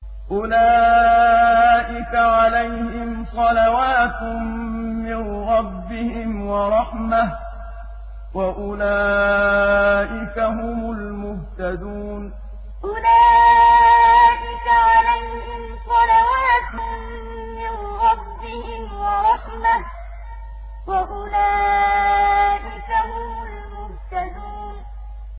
أُولَٰئِكَ عَلَيْهِمْ صَلَوَاتٌ مِّن رَّبِّهِمْ وَرَحْمَةٌ ۖ وَأُولَٰئِكَ هُمُ الْمُهْتَدُونَ أُولَٰئِكَ عَلَيْهِمْ صَلَوَاتٌ مِّن رَّبِّهِمْ وَرَحْمَةٌ ۖ وَأُولَٰئِكَ هُمُ الْمُهْتَدُونَ